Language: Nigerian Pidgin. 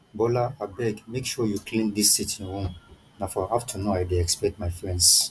bola abeg make sure you clean dis sitting room na for afternoon i dey expect my friends